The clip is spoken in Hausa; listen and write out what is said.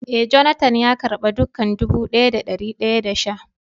Eh, " Jonathan" ya karba dukak dubu daya da dari daya da sha.